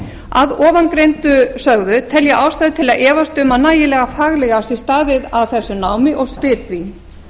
að ofangreindu sögðu tel ég ástæðu til að efast um að nægilega faglega sé staðið að þessu námi og spyr því